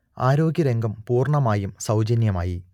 ആരോഗ്യരംഗം പൂർണ്ണമായും സൗജന്യമായി